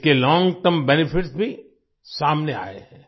इसके long term benefits भी सामने आये हैं